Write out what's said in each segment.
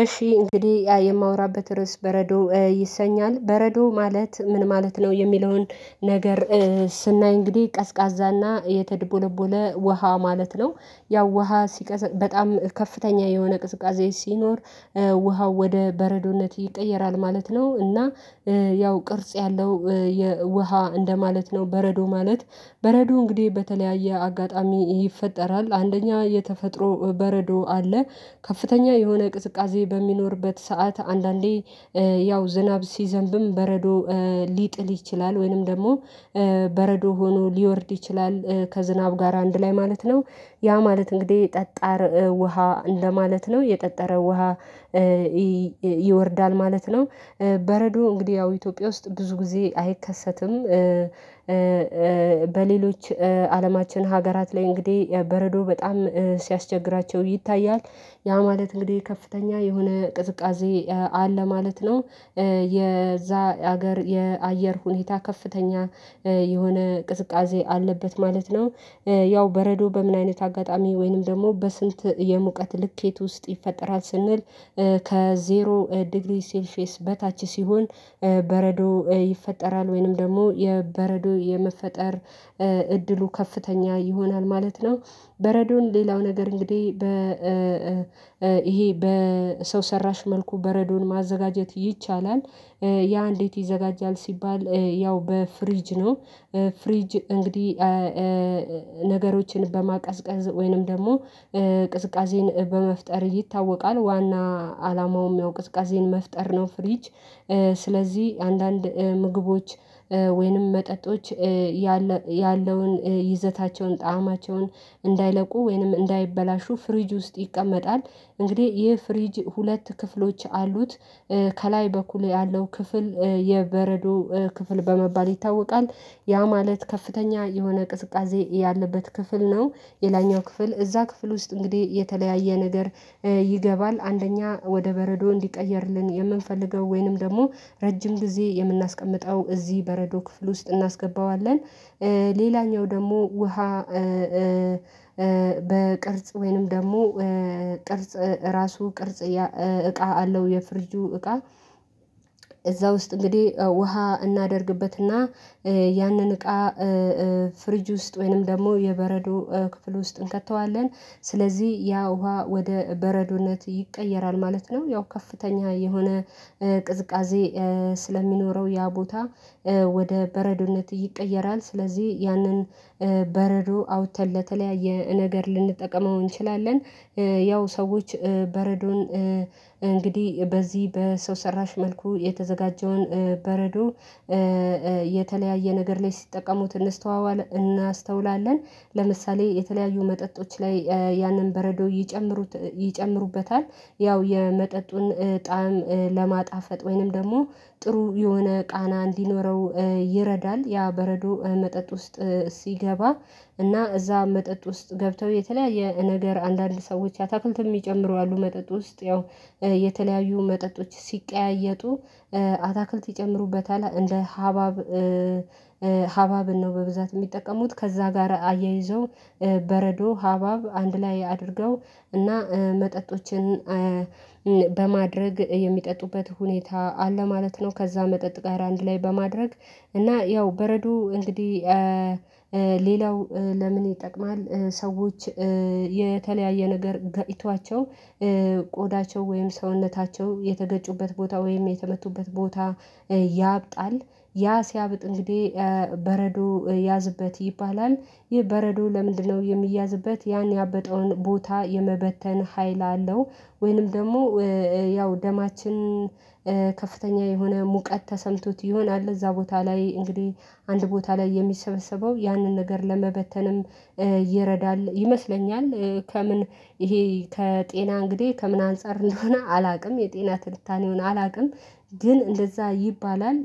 እሺ እንግዲህ ያ የማወራበት ርዕስ በረዶ ይሰኛል። በረዶ ማለት ምን ማለት ነው። የሚለውን ነገር ስናይ እንግዲህ ቀዝቃዛና የተድቦለቦለ ውሃ ማለት ነው። ያው ውሃ ሲቀዝ በጣም ከፍተኛ የሆነ ቅዝቃዜ ሲኖር ውሃው ወደ በረዶነት ይቀየራል ማለት ነው። እና ያው ቅርጽ ያለው የውሃ እንደማለት ነው በረዶ ማለት በረዶ እንግዲህ በተለያየ አጋጣሚ ይፈጠራል አንደኛ የተፈጥሮ በረዶ አለ ከፍተኛ የሆነ ቅዝቃዜ በሚኖርበት ሰዓት አንዳንዴ ያው ዝናብ ሲዘንብም በረዶ ሊጥል ይችላል። ወይንም ደግሞ በረዶ ሆኖ ሊወርድ ይችላል። ከዝናብ ጋር አንድ ላይ ማለት ነው ያ ማለት እንግዲህ ጠጣር ውሃ እንደማለት ነው የጠጠረ ውሃ ይወርዳል ማለት ነው። በረዶ እንግዲህ ያው ኢትዮጵያ ውስጥ ብዙ ጊዜ አይከሰትም። በሌሎች አለማችን ሀገራት ላይ እንግዲህ በረዶ በጣም ሲያስቸግራቸው ይታያል ያ ማለት እንግዲህ ከፍተኛ የሆነ ቅዝቃዜ አለ ማለት ነው። የዛ ሀገር የአየር ሁኔታ ከፍተኛ የሆነ ቅዝቃዜ አለበት ማለት ነው። ያው በረዶ በምን አይነት አጋጣሚ ወይንም ደግሞ በስንት የሙቀት ልኬት ውስጥ ይፈጠራል። ስንል ከዜሮ ዲግሪ ሴልፊስ በታች ሲሆን በረዶ ይፈጠራል። ወይንም ደግሞ የበረዶ የመፈጠር እድሉ ከፍተኛ ይሆናል። ማለት ነው። በረዶን ሌላው ነገር እንግዲህ በ ይሄ በሰው ሰራሽ መልኩ በረዶን ማዘጋጀት ይቻላል ያ እንዴት ይዘጋጃል ሲባል ያው በፍሪጅ ነው ፍሪጅ እንግዲህ ነገሮችን በማቀዝቀዝ ወይንም ደግሞ ቅዝቃዜን በመፍጠር ይታወቃል። ዋና አላማውም ያው ቅዝቃዜን መፍጠር ነው። ፍሪጅ ስለዚህ አንዳንድ ምግቦች ወይንም መጠጦች። ያለውን ይዘታቸውን ጣዕማቸውን እንዳይለቁ ወይንም እንዳይበላሹ ፍሪጅ ውስጥ ይቀመጣል እንግዲህ ይህ ፍሪጅ ሁለት ክፍሎች አሉት ከላይ በኩል ያለው ክፍል የበረዶ ክፍል በመባል ይታወቃ። ያ ማለት ከፍተኛ የሆነ ቅድቃዜ ያለበት ክፍል ነው። የላኛው ክፍል እዛ ክፍል ውስጥ እንግዲህ የተለያየ ነገር ይገባል አንደኛ ወደ በረዶ እንዲቀየርልን የምንፈልገው ወይንም ደግሞ ረጅም ጊዜ የምናስቀምጠው እዚህ በረዶ ክፍል ውስጥ እናስገባዋለን። ሌላኛው ደግሞ ውሃ በቅርጽ ወይንም ደግሞ ቅርጽ ራሱ ቅርጽ እቃ አለው የፍርጁ እቃ እዛ ውስጥ እንግዲህ ውሃ እናደርግበትና ያንን እቃ ፍሪጅ ውስጥ ወይንም ደግሞ የበረዶ ክፍል ውስጥ እንከተዋለን ስለዚህ ያ ውሃ ወደ በረዶነት ይቀየራል ማለት ነው ያው ከፍተኛ የሆነ ቅዝቃዜ ስለሚኖረው ያ ቦታ ወደ በረዶነት ይቀየራል ስለዚህ ያንን በረዶ አውጥተን ለተለያየ ነገር ልንጠቀመው እንችላለን። ያው ሰዎች በረዶን እንግዲህ በዚህ በሰው ሰራሽ መልኩ የተዘጋጀውን በረዶ የተለያየ ነገር ላይ ሲጠቀሙት እንስተዋዋለን እናስተውላለን ለምሳሌ የተለያዩ መጠጦች ላይ ያንን በረዶ ይጨምሩበታል ያው የመጠጡን ጣዕም ለማጣፈጥ ወይንም ደግሞ ጥሩ የሆነ ቃና እንዲኖረው ይረዳል ያ በረዶ መጠጥ ውስጥ ሲገባ እና እዛ መጠጥ ውስጥ ገብተው የተለያየ ነገር አንዳንድ ሰዎች ያታክልት የሚጨምሩ አሉ መጠጥ ውስጥ ያው የተለያዩ መጠጦች ሲቀያየጡ አታክልት ይጨምሩበታል እንደ ሀባብ ሀባብን ነው በብዛት የሚጠቀሙት ከዛ ጋር አያይዘው በረዶ ሀባብ አንድ ላይ አድርገው እና መጠጦችን በማድረግ የሚጠጡበት ሁኔታ አለ ማለት ነው። ከዛ መጠጥ ጋር አንድ ላይ በማድረግ እና ያው በረዶ እንግዲህ ሌላው ለምን ይጠቅማል ሰዎች የተለያየ ነገር ገብቷቸው ቆዳቸው ወይም ሰውነታቸው የተገጩበት ቦታ ወይም የተመቱበት ቦታ ያብጣል ያ ሲያብጥ እንግዲህ ያዝበት ይባላል። ይህ በረዶ ለምንድነው የሚያዝበት? ያን ያበጠውን ቦታ የመበተን ሀይል አለው ወይንም ደግሞ ያው ደማችን ከፍተኛ የሆነ ሙቀት ተሰምቶት ይሆናል እዛ ቦታ ላይ እንግዲህ አንድ ቦታ ላይ የሚሰበሰበው ያንን ነገር ለመበተንም እየረዳል ይመስለኛል። ከምን ይሄ ከጤና እንግዲህ ከምን አንፃር እንደሆነ አላውቅም የጤና ትልታኔውን አላውቅም። ግን እንደዛ ይባላል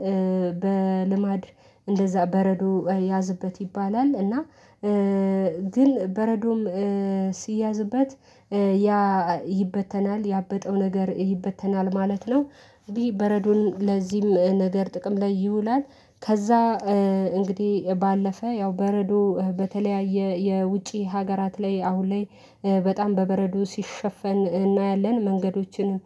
በልማድ እንደዛ በረዶ ያዝበት ይባላል። እና ግን በረዶም ሲያዝበት ይበተናል ያበጠው ነገር ይበተናል ማለት ነው እንዲህ በረዶን ለዚህም ነገር ጥቅም ላይ ይውላል። ከዛ እንግዲህ ባለፈ ያው በረዶ በተለያየ የውጪ ሀገራት ላይ አሁን ላይ በጣም በበረዶ ሲሸፈን እናያለን መንገዶችን